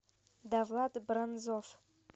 давлат бронзов